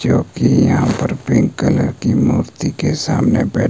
जो कि यहां पर पिंक कलर की मूर्ति के सामने बै--